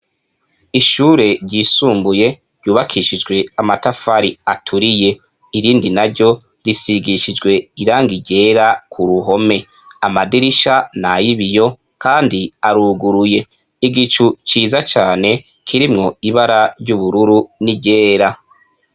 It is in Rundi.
Ishure ryisumbuye ryubakishijwe amatafari aturiye irindi na ryo risigishijwe irangi iryera ku ruhome amadirisha na yibiyo, kandi aruguruye igicu ciza cane kirimwo ibara ry'ubururu ni ryera.